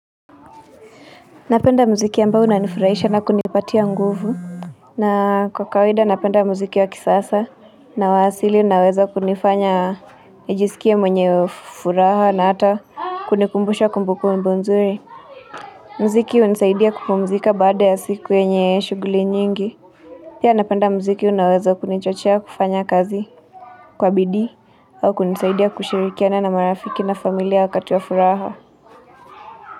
Napenda muziki ambayo inanifurahisha na kunipatia nguvu na kwa kawaida napenda muziki wa kisasa na wa asili unaoweza kunifanya nijisikie mwenye furaha na ata kunikumbusha kumbukumbu nzuri. Mziki hunisaidia kupumzika baada ya siku yenye shuguli nyingi. Pia napenda mziki unaoweza kunichochea kufanya kazi kwa bidii au kunisaidia kushirikiana na marafiki na familia wakati wa furaha.